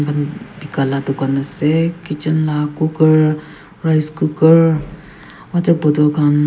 beka laga dukan ase kitchen laga coker rice cooker water bottle khan--